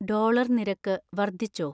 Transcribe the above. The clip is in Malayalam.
ഡോളർ നിരക്ക് വർദ്ധിച്ചോ